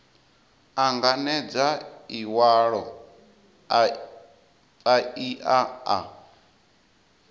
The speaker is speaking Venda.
anganedza iwalo a paia a